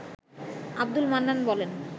আব্দুল মান্নান বলেন